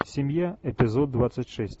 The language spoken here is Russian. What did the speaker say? семья эпизод двадцать шесть